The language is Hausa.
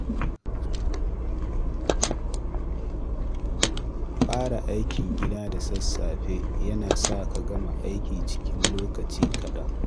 Fara aikin gida da sassafe yana sa ka gama aiki cikin lokaci kaɗan